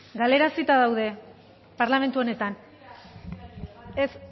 galarazita daude parlamentu honetan ez